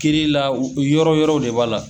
Kɛli la u yɔrɔ yɔrɔ de b'a la.